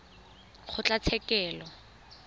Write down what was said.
kgotlatshekelo